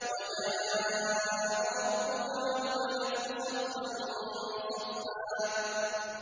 وَجَاءَ رَبُّكَ وَالْمَلَكُ صَفًّا صَفًّا